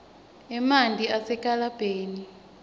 emanti asenkelebheni